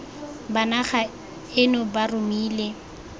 ba naga eno ba romile